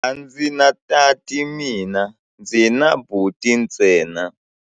A ndzi na tati mina, ndzi na buti ntsena.